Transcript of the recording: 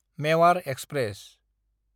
Mewar express